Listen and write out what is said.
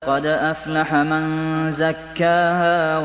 قَدْ أَفْلَحَ مَن زَكَّاهَا